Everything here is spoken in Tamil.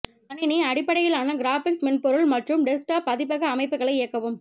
கணினி அடிப்படையிலான கிராபிக்ஸ் மென்பொருள் மற்றும் டெஸ்க்டாப் பதிப்பக அமைப்புகளை இயக்கவும்